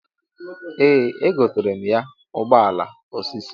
Ee egotara m ya ụgbọala osisi.